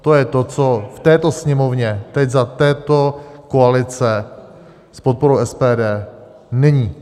To je to, co v této Sněmovně, teď za této koalice s podporou SPD, není.